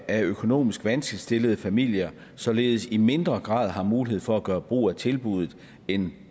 af økonomisk vanskeligt stillede familier således i mindre grad har mulighed for at gøre brug af tilbuddet end